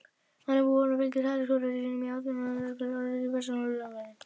Þannig búin fylgir hún elskhuga sínum í áttina að kapellunni í vesturálmu klaustursins.